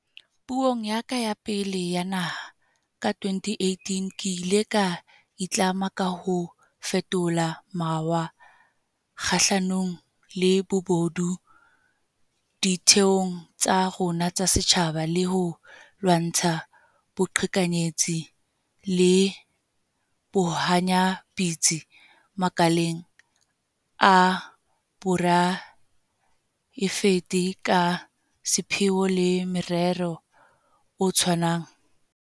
Puong ya ka ya pele ya Pulo ya Naha, ka 2018, ke ile ka itlama ka ho fetola mawa kgahlanong le bobodu ditheong tsa rona tsa setjhaba le ho lwantsha boqhekanyetsi le bohanyapetsi makaleng a poraefete ka sepheo le morero o tshwanang.